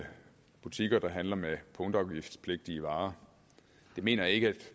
butikker der handler med punktafgiftspligtige varer det mener jeg ikke at